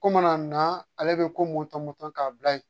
Ko mana na ale bɛ ko mɔto mɔto k'a bila yen